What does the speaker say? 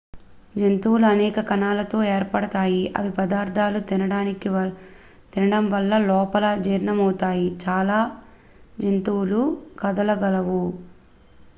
జంతువులు అనేక కణాలతో ఏర్పడతాయి ఇవి పదార్థాలు తినడం వల్ల లోపల జీర్ణమవుతాయి చాలా జంతువులు కదలగలవు